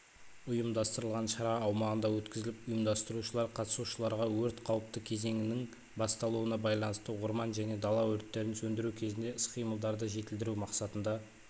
ұйымдастырылған шара аумағында өткізіліп ұйымдастырушылар қатысушыларға өрт қауіпті кезеңінің басталуына байланысты орман және дала өрттерін сөндіру кезінде іс-қимылдарды жетілдіру мақсатында